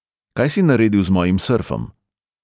Kaj si naredil z mojim srfom?